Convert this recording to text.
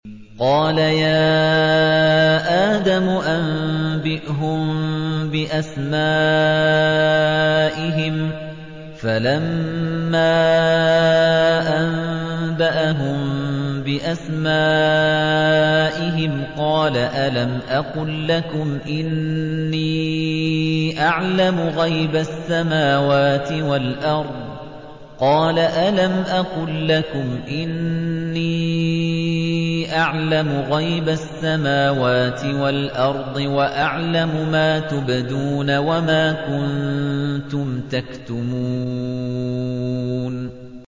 قَالَ يَا آدَمُ أَنبِئْهُم بِأَسْمَائِهِمْ ۖ فَلَمَّا أَنبَأَهُم بِأَسْمَائِهِمْ قَالَ أَلَمْ أَقُل لَّكُمْ إِنِّي أَعْلَمُ غَيْبَ السَّمَاوَاتِ وَالْأَرْضِ وَأَعْلَمُ مَا تُبْدُونَ وَمَا كُنتُمْ تَكْتُمُونَ